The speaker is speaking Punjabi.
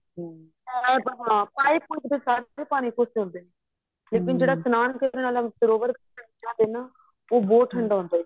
ਲੇਕਿਨ ਜਿਹੜਾ ਇਸ਼ਨਾਨ ਕਰਨ ਆਲਾ ਸਰੋਵਰ ਦਾ ਪਾਣੀ ਉਹ ਬਹੁਤ ਠੰਡਾ ਹੁੰਦਾ ਏ